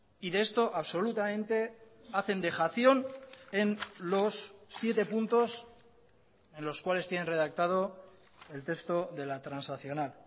y de esto absolutamente hacen dejación en los siete puntos en los cuales tienen redactado el texto de la transaccional